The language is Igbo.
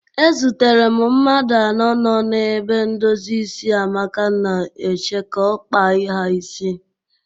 Ezutere m mmadụ anọ nọ n'ebe ndozi isi Amaka na-eche ka ọ kpaa ha isi.